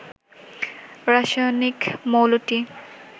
রাসায়নিক মৌলটি